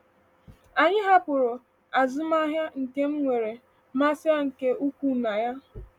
Anyị hapụrụ azụmahịa nke m nwere mmasị nke ukwuu na ya.